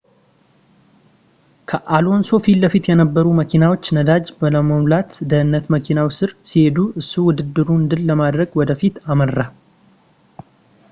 ከአሎንሶ ፊትለፊት የነበሩ መኪናዎች ነዳጅ ለመሙላት በደህንነት መኪናው ስር ሲሄዱ እሱ ውድድሩን ድል ለማድረግ ወደፊት አመራ